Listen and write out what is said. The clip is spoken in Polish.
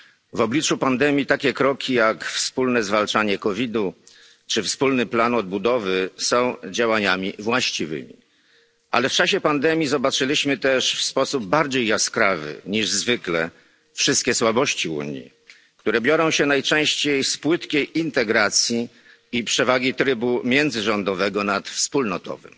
W obliczu pandemii takie kroki, jak wspólne zwalczanie COVID u czy wspólny plan odbudowy są działaniami właściwymi. Ale w czasie pandemii zobaczyliśmy też w sposób bardziej jaskrawy niż zwykle wszystkie słabości Unii, które biorą się najczęściej z płytkiej integracji i przewagi trybu międzyrządowego nad wspólnotowym,